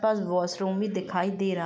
बस वॉशरूम ही दिखाई दे रहा --